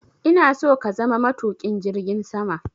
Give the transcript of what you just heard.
ina so ka zama matuƙin jirgin sama!